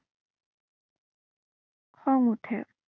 খং উঠে।